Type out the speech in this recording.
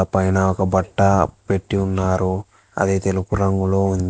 పైన ఒక పట్టా పెట్టి ఉన్నారు అదే తెలుపు రంగులో ఉంది.